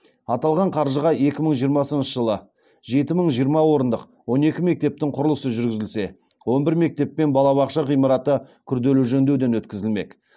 аталған қаржыға екі мың жиырмасыншы жылы жеті мың жиырма орындық он екі мектептің құрылысы жүргізілсе он бір мектеп пен балабақша ғимараты күрделі жөндеуден өткізілмек